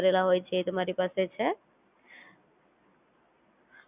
એ તો Compulsory છે જો તમારી પાસે એ ના હોય